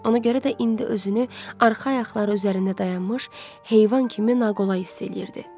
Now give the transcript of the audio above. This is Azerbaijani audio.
Ona görə də indi özünü arxa ayaqları üzərində dayanmış heyvan kimi naqolay hiss eləyirdi.